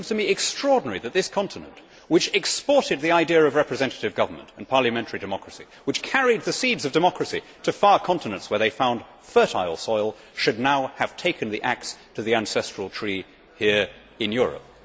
It seems to me extraordinary that this continent, which exported the idea of representative government and parliamentary democracy, which carried the seeds of democracy to far continents where they found fertile soil, should now have taken the axe to the ancestral tree here in Europe.